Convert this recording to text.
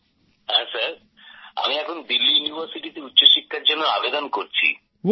হ্যাঁ স্যার এখন আমি দিল্লি ইউনিভার্সিটিতে উচ্চশিক্ষার জন্য আবেদন করছি